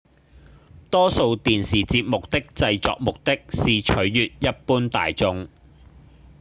多數電視節目的製作目的是取悅一般大眾